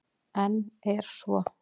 En er svo?